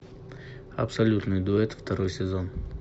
абсолютный дуэт второй сезон